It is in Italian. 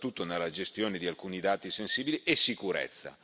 soprattutto nella gestione di alcuni dati sensibili e sicurezza.